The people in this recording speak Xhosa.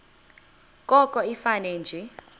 koko ifane nje